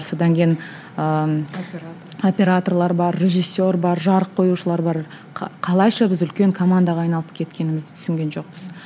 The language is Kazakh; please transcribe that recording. содан кейін ыыы операторлар бар режиссер бар жарық қоюшылар бар қалайша біз үлкен командаға айналып кеткенімізді түсінген жоқпыз